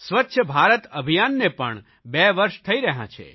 સ્વચ્છ ભારત અભિયાનને પણ બે વર્ષ થઇ રહ્યા છે